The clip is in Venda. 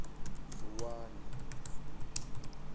vuwani